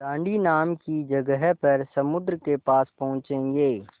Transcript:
दाँडी नाम की जगह पर समुद्र के पास पहुँचेंगे